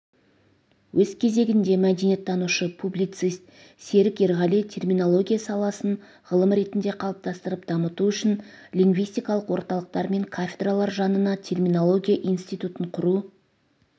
өз кезегінде мәдениеттанушы публицист серік ерғали терминология саласын ғылым ретінде қалыптастырып дамыту үшін лингвистикалық орталықтар мен кафедралар жанына терминология институтын құру